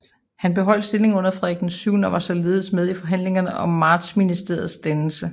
Han beholdt stillingen under Frederik VII og var således med i forhandlingerne om Martsministeriets dannelse